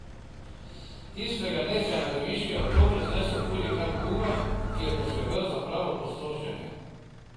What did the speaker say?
Tistega dne se je na Deviške otoke znesel hurikan Hugo, ki je poskrbel za pravo opustošenje.